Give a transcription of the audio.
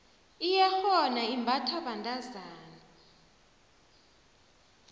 iyerhona imbathwa bentazana